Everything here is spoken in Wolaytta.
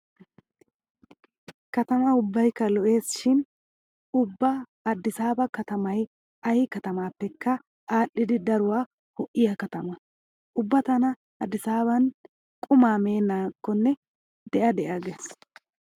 Katama ubbaykka lo'ees shin ubba aaddisaaba katamay ay katamaappekka aadhdhidi daruwa ho'iya katama. Ubba tana aaddissaaban qumaa meennakkonne de'a de'a gees.